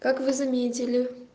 как вы заметили